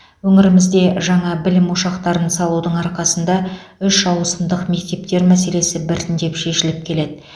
өңірімізде жаңа білім ошақтарын салудың арқасында үш ауысымдық мектептер мәселесі біртіндеп шешіліп келеді